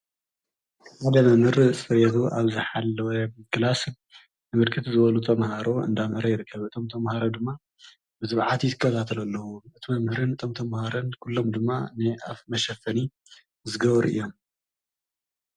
ሓደ መምህር ፅሬቱ ኣብ ዝሓለወ ክላስ ብርክት ዝበሉ ተምሃሮ እንዳምሃረ ይርከብ፡፡ እቶም ተምሃሮ ድማ ብትብዓት ይከታተሉ ኣለው፡፡ እቲ መምህርን እቶም ተምሃሮን ኩሎም ድማ ናይ ኣፍ መሸፈኒ ዝገበሩ እዮም፡፡